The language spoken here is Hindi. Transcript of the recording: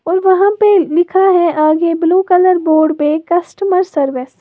और वहां पे लिखा है आगे ब्लू कलर बोर्ड पे कस्टमर सर्विस ।